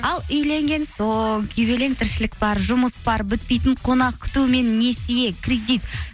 ал үйленген соң күйгелең тіршілік бар жұмыс бар бітпейтін қонақ күту мен несие кредит